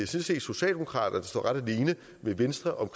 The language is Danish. set socialdemokraterne der står ret alene med venstre